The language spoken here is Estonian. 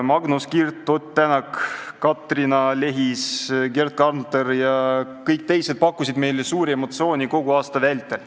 Magnus Kirt, Ott Tänak, Katrina Lehis, Gerd Kanter ja kõik teised pakkusid meile suuri emotsioone kogu aasta vältel.